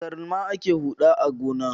Da galma ake huɗa a gona.